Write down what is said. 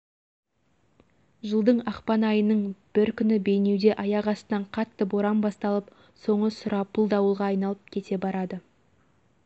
жылдың ақпан айының бір күні бейнеуде аяқ астынан қатты боран басталып соңы сұрапыл дауылға айналып кете барады